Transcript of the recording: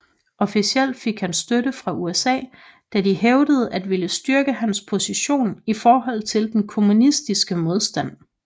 Officielt fik han støtte fra USA da de hævdede at ville styrke hans position i forhold til den kommunistiske modstand